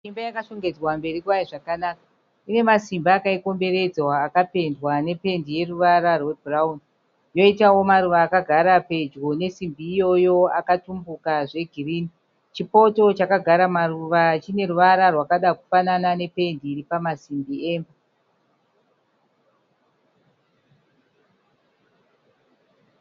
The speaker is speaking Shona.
Imba yakashongedzwa mberi kwayo zvakanaka ine masimbi akaikomberedza akapendwa nependi yeruvara rwebhurawuni yoitawo maruva akagara pedyo nesimbi iyoyo akatumbuka zvegirini chipoto chakagara maruva chine ruvara rwakada kufanana nependi iripama simbi emba.